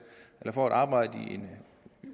eller får et arbejde i en